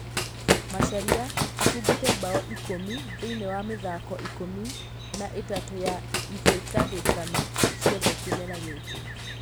Macharia abungĩte mbao ikũmi thĩiniĩ wa mĩthako ikũmi na ĩtatũ ya ĩhĩtahĩtano ciothe kĩmera gĩkĩ.